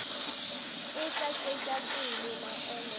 e tla tšwetša pele maemo